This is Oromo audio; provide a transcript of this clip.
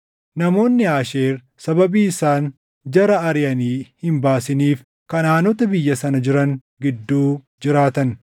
namoonni Aasheer sababii isaan jara ariʼanii hin baasiniif Kanaʼaanota biyya sana jiran gidduu jiraatan.